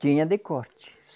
Tinha de corte.